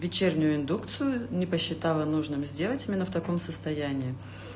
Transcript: вечернюю индукцию не посчитала нужным сделать именно в таком состоянии